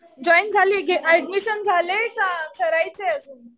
Join झालीय कि admission झालंय का करायचंय अजून?